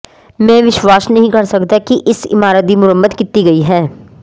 ਮੈਂ ਵਿਸ਼ਵਾਸ ਨਹੀਂ ਕਰ ਸਕਦਾ ਕਿ ਇਸ ਇਮਾਰਤ ਦੀ ਮੁਰੰਮਤ ਕੀਤੀ ਗਈ ਹੈ